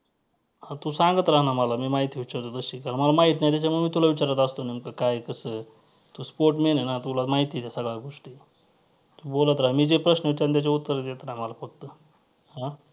हां तू सांगत रहा ना मला मी माहिती विचारतो तशी कारण मला माहित नाही त्याच्यामुळं मी तुला विचारात असतो नेमकं काय कसं तू sportman आहे ना तुला माहिती आहेत सगळ्या गोष्टी तू बोलत राहा मी जे प्रश्न विचारेन त्याची उत्तरं देत रहा मला फक्त हां